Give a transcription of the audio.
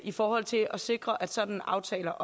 i forhold til at sikre at sådanne aftaler